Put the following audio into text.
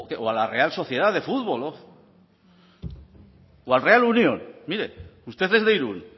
o a la real sociedad de fútbol o al real unión mire usted es de irún